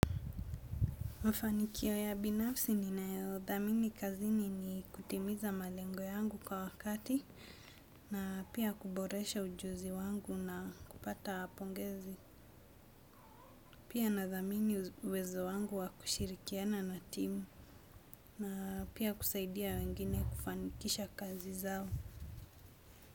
Mafanikio ya binafsi ninayothamini kazini ni kutimiza malengo yangu kwa wakati na pia kuboresha ujuzi wangu na kupata pongezi. Pia nadhamini uwezo wangu wa kushirikiana na timu na pia kusaidia wengine kufanikisha kazi zao.